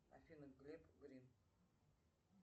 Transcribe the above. афина глеб грин